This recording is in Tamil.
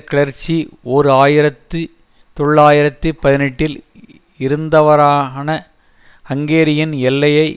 கிளர்ச்சி ஓர் ஆயிரத்தி தொள்ளாயிரத்தி பதினெட்டில் இருந்த வாறான ஹங்கேரியின் எல்லையை